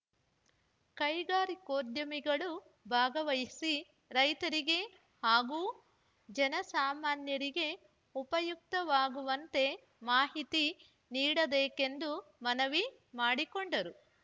ಕೈಗಾರಿಕೋದ್ಯಮಿಗಳು ಭಾಗವಹಿಸಿ ರೈತರಿಗೆ ಹಾಗೂ ಜನಸಾಮಾನ್ಯರಿಗೆ ಉಪಯುಕ್ತವಾಗುವಂತೆ ಮಾಹಿತಿ ನೀಡಬೇಕೆಂದು ಮನವಿ ಮಾಡಿಕೊಂಡರು